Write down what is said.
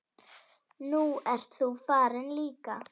Nú ert þú farin líka.